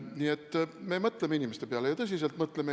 Nii et me mõtleme inimeste peale, ja tõsiselt mõtleme.